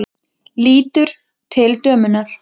Lítur til dömunnar.